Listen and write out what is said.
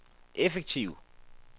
effektiv